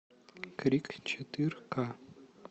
крик четыре к